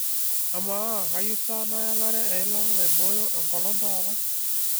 amaa kayieu sa naelare eilata naibooyo enkolong taata